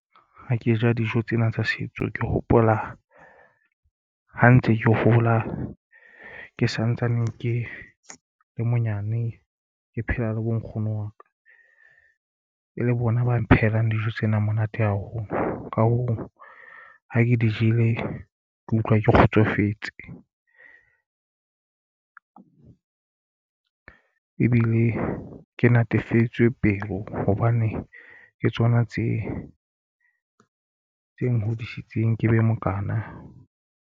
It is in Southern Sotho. Ha ke ja dijo tsena tsa setso ke hopola ha ntse ke hola ke santsane ke le monyane ke phela le bo nkgono wa ka e le bona ba phehelang dijo tsena monate haholo. Ka hoo ha ke di jele ke utlwa ke kgotsofetse e bile ke natefetswe pelo hobane ke tsona tse tse nhodisitseng ke be mokana.